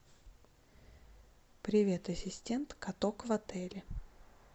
привет ассистент каток в отеле